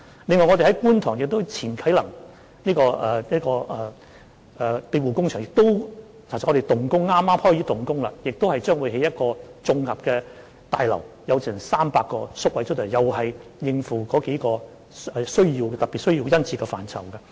另外，我們將在觀塘啟能庇護工場及宿舍舊址設立一所綜合康復服務大樓，工程剛開始，竣工後此設施將共提供300個宿位，以應付對上述類別宿位殷切的需求。